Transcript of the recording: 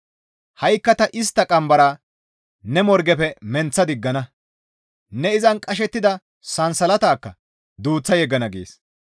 Ha7ikka ta istta qambara ne morgefe menththa diggana; ne izan qashettida sansalatakka duuththa yeggana» gees.